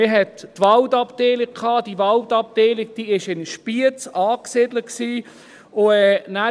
Denn es gab die Waldabteilung, die in Spiez angesiedelt war.